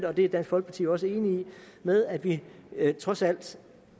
og det er dansk folkeparti jo også enig i med at vi trods alt